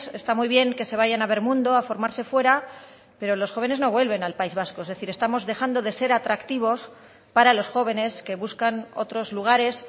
está muy bien que se vayan a ver mundo a formarse fuera pero los jóvenes no vuelven al país vasco es decir estamos dejando de ser atractivos para los jóvenes que buscan otros lugares